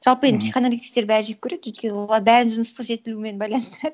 жалпы енді психоаналитиктер бәрі жек көреді өйткені олар бәрін жыныстық жетілумен байланыстырады